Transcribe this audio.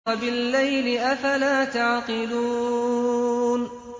وَبِاللَّيْلِ ۗ أَفَلَا تَعْقِلُونَ